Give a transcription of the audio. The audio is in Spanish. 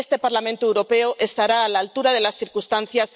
Este Parlamento Europeo estará a la altura de las circunstancias.